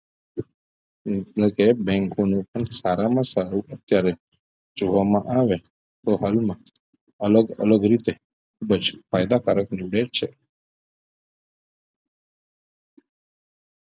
એટલે bank નું પણ સારામાં સારું અત્યારે જોવામાં આવે તો હાલમાં અલગ અલગ રીતે ખુબજ ફાયદા કારક નીવડે છે